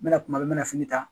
N bɛna kuma n mɛ fini ta